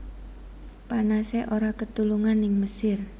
Panase ora ketulungan ning Mesir